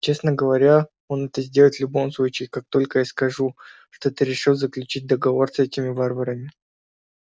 честно говоря он это сделает в любом случае как только я скажу что ты решил заключить договор с этими варварами